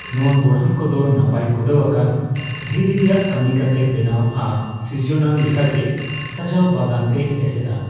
ᱱᱚᱣᱟ ᱜᱚᱲᱦᱚᱱ ᱠᱚᱫᱚ ᱱᱟᱯᱟᱭ ᱠᱩᱸᱫᱟᱣ ᱟᱠᱟᱱ ᱫᱷᱤᱨᱤ ᱨᱮᱭᱟᱜ ᱠᱟᱹᱢᱤ ᱠᱟᱛᱮ ᱵᱮᱱᱟᱣ ᱟᱨ ᱥᱤᱨᱡᱚᱱᱟᱱ ᱞᱮᱠᱟᱜᱮ ᱥᱟᱡᱟᱣ ᱵᱟᱜᱟᱱᱛᱮ ᱮᱥᱮᱫᱼᱟ ᱾